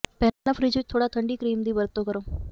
ਪਹਿਲਾਂ ਫਰਿੱਜ ਵਿੱਚ ਥੋੜਾ ਠੰਡਾ ਕਰੀਮ ਦੀ ਵਰਤੋਂ ਕਰੋ